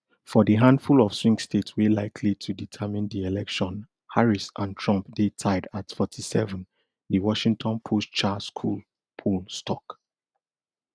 for di handfull of swing states wey likely to determine di election harris and trump dey tied at forty-seven di washington postschar school poll stok